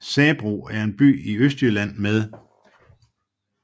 Sabro er en by i Østjylland med